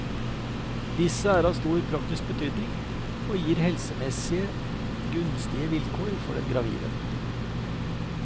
Disse er av stor praktisk betydning, og gir helsemessig gunstige vilkår for den gravide.